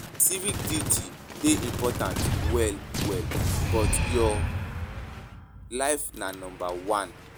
Civic duty dey important well well but your but your life na number one.